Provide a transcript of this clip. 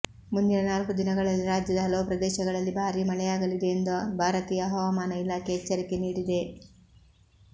ಮುಂದಿನ ನಾಲ್ಕು ದಿನಗಳಲ್ಲಿ ರಾಜ್ಯದ ಹಲವು ಪ್ರದೇಶಗಳಲ್ಲಿ ಭಾರೀ ಮಳೆಯಾಗಲಿದೆ ಎಂದು ಭಾರತೀಯ ಹವಾಮಾನ ಇಲಾಖೆ ಎಚ್ಚರಿಕೆ ನೀಡಿದೆ